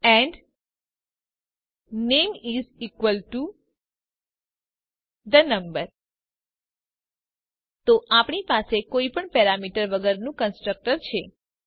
and name is equal to the name તો આપણી પાસે કોઈ પણ પેરામીટર વગરનું કન્સ્ટ્રક્ટર છે